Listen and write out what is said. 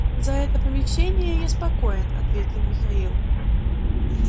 за это помещение я спокоен ответил михаил